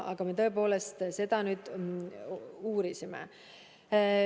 Aga me tõepoolest seda uurisime.